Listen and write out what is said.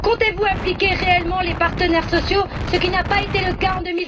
Comptez vous associer réellement les partenaires sociaux, ce qui n'a pas été le cas en